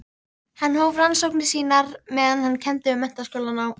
Hann hóf rannsóknir sínar meðan hann kenndi við Menntaskólann á